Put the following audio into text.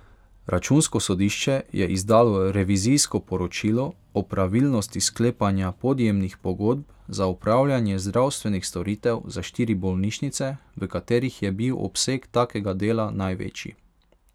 Računsko sodišče je izdalo revizijsko poročilo o pravilnosti sklepanja podjemnih pogodb za opravljanje zdravstvenih storitev za štiri bolnišnice, v katerih je bil obseg takega dela največji.